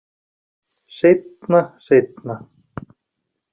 Seinna, seinna.